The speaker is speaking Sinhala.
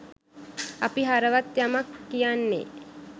අපි හරවත් යමක් කියන්නේ